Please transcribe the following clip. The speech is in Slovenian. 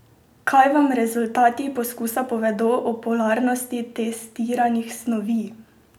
Kaj vam rezultati poskusa povedo o polarnosti testiranih snovi?